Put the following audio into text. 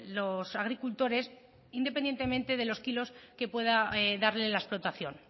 los agricultores independientemente de los kilos que pueda darle la explotación